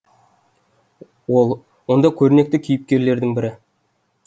ол онда көрнекті кейіпкерлердің бірі